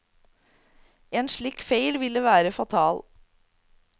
En slik feil ville være fatal.